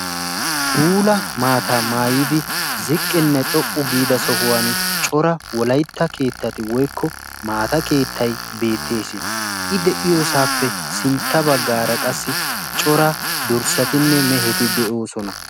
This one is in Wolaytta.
Puula maataa maayidi ziqqinne xoqqu giida sohuwaan cora wolaytta keettatu woykko maata keettay beettees. i de'iyoosappe sintta baggaara qassi cora dorssatinne meheti de'oosona.